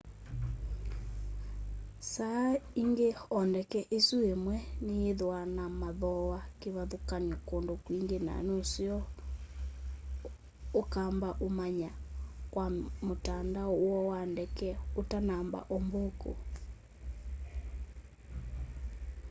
saa ingi o ndeke isu imwe niyithwaa na mathooa kivathukany'o kundu kwingi na nuseo ukamba umantha kwa mutandao woo wa ndeke utanamba umbuku